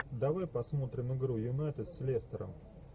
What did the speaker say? давай посмотрим игру юнайтед с лестером